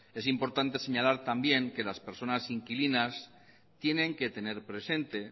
es importante señalar también que las personas inquilinas tienen que tener presente